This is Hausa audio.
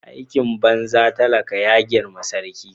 Aikin banza talaka ya grime sarki.